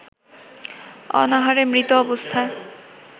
অনাহারে মৃত অবস্থায়